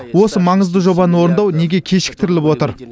осы маңызды жобаны орындау неге кешіктіріліп отыр